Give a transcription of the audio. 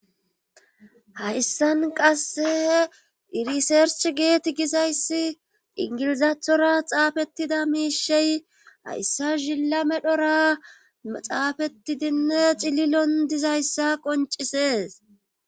hayssan qasse irisersch geet gizayssi ingilizaathora xaafettida miishey hayssa zilla medhora xaafetidinne cililon dizayssa qoncisees